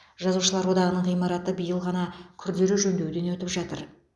жазушылар одағының ғимараты биыл ғана күрделі жөндеуден өтіп жатыр